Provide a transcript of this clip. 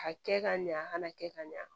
A kɛ ka ɲa a kana kɛ ka ɲa